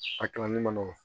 A kalanli man nɔgɔn